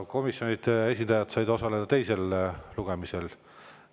Komisjonide esindajad said osaleda teisel lugemisel.